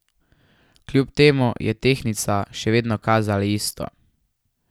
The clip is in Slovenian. Kljub temu, je tehtnica še vedno kazala isto.